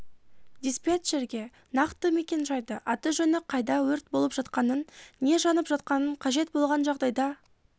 диспетчерге нақты мекен-жайды аты жөні қайда өрт балып жатқанын не жанып жатқанын қажет болған жағдайда